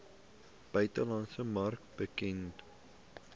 buitelandse mark bekend